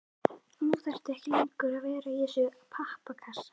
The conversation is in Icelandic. Nú þarftu ekki lengur að vera í þessum pappakassa.